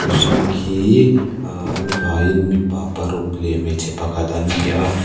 mihring hi ahh an vai in mipa paruk leh hmeichhe pakhat an ni a.